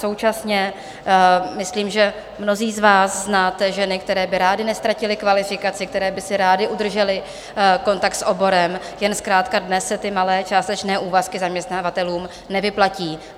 Současně myslím, že mnozí z vás znáte ženy, které by rády neztratily kvalifikaci, které by si rády udržely kontakt s oborem, jen zkrátka dnes se ty malé částečné úvazky zaměstnavatelům nevyplatí.